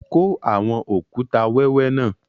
Kọ awọn okùtà wẹwẹ náà!